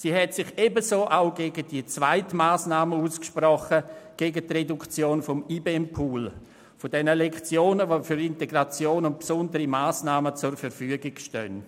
Sie sprach sich ebenfalls gegen die Reduktion des IBEM-Pools aus, über welchen Lektionen für Integration und besondere Massnahmen zur Verfügung stehen.